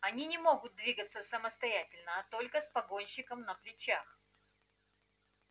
они не могут двигаться самостоятельно а только с погонщиком на плечах